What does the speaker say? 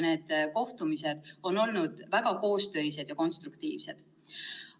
Need kohtumised on olnud väga koostöised ja konstruktiivsed.